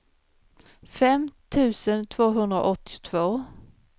fem tusen tvåhundraåttiotvå